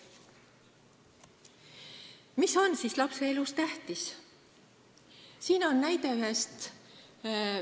Mis on siis lapse elus tähtis?